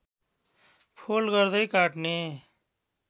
fold गर्दै काट्ने